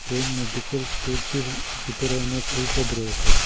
এই মেডিকেল স্টোরটির ভিতরে অনেক ঔষধ রয়েছে।